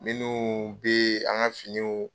Minnu be an ka finiw